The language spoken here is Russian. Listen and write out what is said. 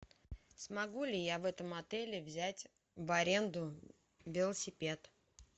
смогу ли я в этом отеле взять в аренду велосипед